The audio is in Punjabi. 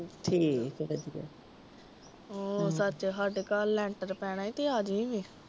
ਹੋ ਸੱਚ ਸਾਡੇ ਕਲ ਲੈਂਟਰ ਪੈਣਾ ਆ ਤੇ ਆ ਜਾਇ ਵੇ